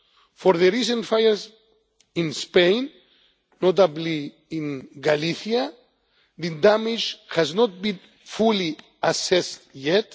October. For the recent fires in Spain, notably in Galicia, the damage has not been fully assessed